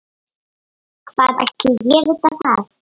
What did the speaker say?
Hvað ætli ég viti það.